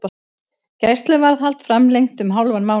Gæsluvarðhald framlengt um hálfan mánuð